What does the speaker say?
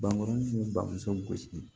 Bankuruni k'i bamuso gosi